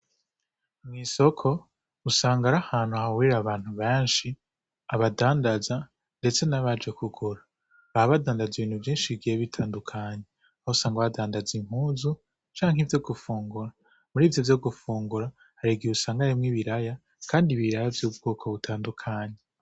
Isoko usanga arahantu hahurira abantu beshi abadandaza ndetse nabaje kugura baba badandaza ibintu vyishi bigiye bitandukanye aho usanga badandaza impuzu canke ivyo gufungura murivyo vyo gufungura harigihe usanga harimwo ibiraya kandi ibiraya vy'ubwoko butandukanye .